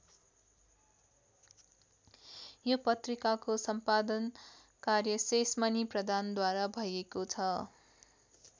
यो पत्रिकाको सम्पादन कार्य शेषमणि प्रधानद्वारा भएको छ।